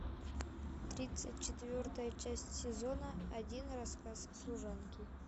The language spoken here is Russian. тридцать четвертая часть сезона один рассказ служанки